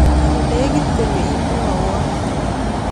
Ye nekit iit konyon imwoiwon